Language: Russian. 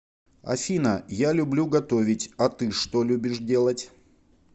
афина я люблю готовить а ты что любишь делать